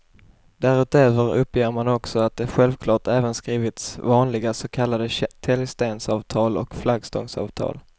Därutöver uppger man också att det självklart även skrivits vanliga så kallade täljstensavtal och flaggstångsavtal.